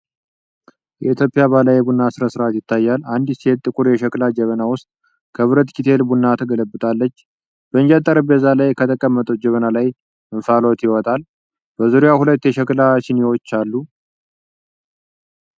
የኢትዮጵያ ባህላዊ የቡና ሥነ ሥርዓት ይታያል። አንዲት ሴት ጥቁር የሸክላ ጀበና ውስጥ ከብረት ኬትል ቡና ትገለብጣለች። በእንጨት ጠረጴዛ ላይ ከተቀመጠችው ጀበና ላይ እንፋሎት ይወጣል። በዙሪያዋ ሁለት የሸክላ ሲኒዎች አሉ።